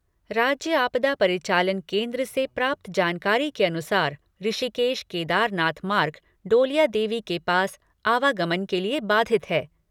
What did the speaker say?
राज्य आपदा परिचालन केंद्र से प्राप्त जानकारी के अनुसार ऋषिकेश केदारनाथ मार्ग डोलिया देवी के पास आवागमन के लिए बाधित है।